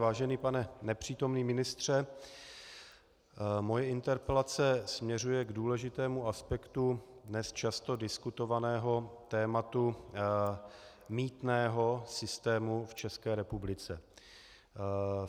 Vážený pane nepřítomný ministře, moje interpelace směřuje k důležitému aspektu dnes často diskutovaného tématu mýtného systému v České republice.